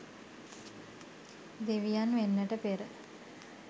දෙවියන් වෙන්නට පෙර